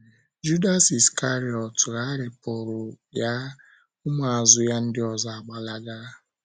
Judas Iskarịọt gharipuru ya, ụmụ azụ ya ndị ọzọ agbalaga